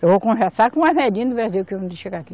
Eu vou conversar com o chegar aqui.